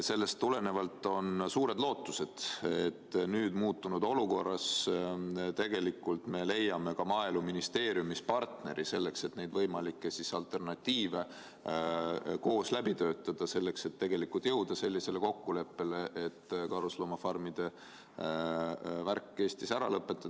Sellest tulenevalt on suured lootused, et nüüd, muutunud olukorras me leiame Maaeluministeeriumis partneri, et võimalikke alternatiive koos läbi töötada ja jõuda kokkuleppele, et karusloomafarmide värk Eestis ära lõpetada.